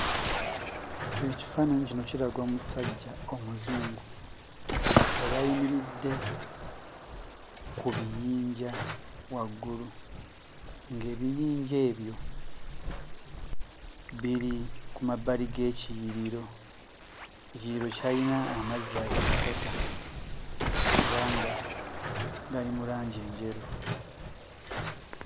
Ekifaananyi kino kiraga omusajja Omuzungu eyali ayimiridde ku biyinja waggulu, ng'ebiyinja ebyo biri ku mabbali g'ekiyiriro. Ekiyiriro kyayina amazzi agatokota era nga gali mu langi enjeru.